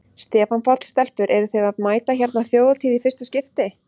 Stefán Páll: Stelpur eruð þið að mæta hérna á Þjóðhátíð í fyrsta skipti?